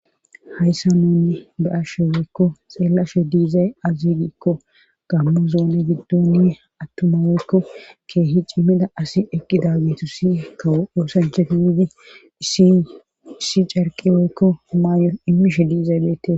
Hayssa nuuni ba ashshe weykko xeellasho diizay azigiikko gammo zoone giddoni attumaweykko keehi cimmida asi eqqi daaggetu si kawo oosanchefi widi iissi carqiweykko maayon immishe diizay beette.